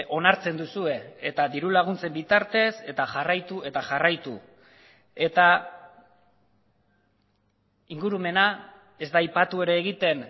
onartzen duzue eta diru laguntzen bitartez eta jarraitu eta jarraitu eta ingurumena ez da aipatu ere egiten